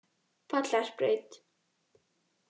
Vallarbraut